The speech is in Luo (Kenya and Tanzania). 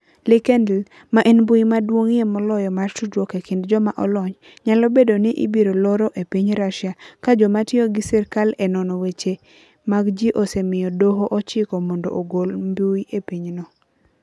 LinkedIn, ma en mbui maduong'ie moloyo mar tudruok e kind joma olony, nyalo bedo ni ibiro loro e piny Russia, ka joma tiyo gi sirkal e nono weche mag ji osemiyo Doho ochiko mondo ogol mbui e pinyno.